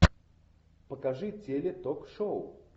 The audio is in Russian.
покажи теле ток шоу